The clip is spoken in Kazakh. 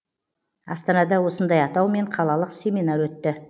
астанада осындай атаумен қалалық семинар өтті